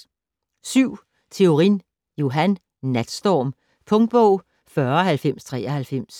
Theorin, Johan: Natstorm Punktbog 409093